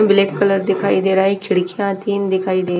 black colour दिखाई दे रहा है खिडकियां तीन दिखाई दे --